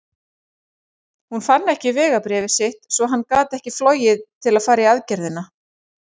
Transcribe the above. Hann fann ekki vegabréfið sitt svo hann gat ekki flogið til að fara í aðgerðina.